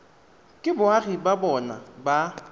ke boagi ba bona ba